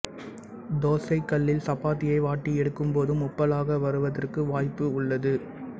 தோசைக்கல்லில் சப்பாத்தியை வாட்டி எடுக்கும்போதும் உப்பலாக வருவதற்கு வாய்ப்பு உள்ளது